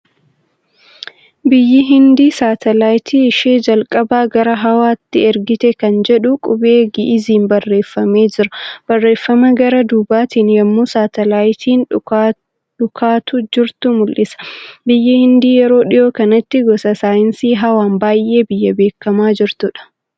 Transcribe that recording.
Biyyi Hindii saatalaayitii ishee jalqabaa gara hawaatti ergite kan jedhu qubee gi'iiziin barreeffamee jira. Barreeffama gara duubatiin yemmuu saatalaayitiin dhukaatu jirtu mul'isa. Biyyi Hindii yeroo dhiyoo kanatti gosa saayinsii hawaan baay'ee biyya beekamaa jirtuudha.